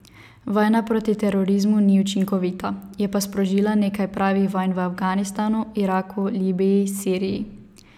Vojna proti terorizmu ni učinkovita, je pa sprožila nekaj pravih vojn v Afganistanu, Iraku, Libiji, Siriji ...